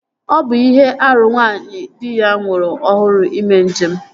Ọ bụ ihe árú nwaanyị di ya nwụrụ ọhụrụ ime njem